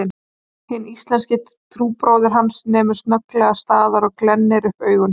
Hinn íslenski trúbróðir hans nemur snögglega staðar og glennir upp augun